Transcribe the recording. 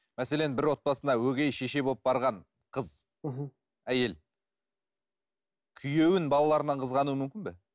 мәселен бір отбасына өгей шеше болып барған қыз әйел күйеуін балаларынан қызғануы мүмкін бе